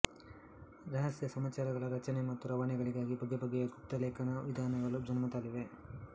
ರಹಸ್ಯ ಸಮಾಚಾರಗಳ ರಚನೆ ಮತ್ತು ರವಾನೆಗಳಿಗಾಗಿ ಬಗೆಬಗೆಯ ಗುಪ್ತ ಲೇಖನ ವಿಧಾನಗಳು ಜನ್ಮತಾಳಿವೆ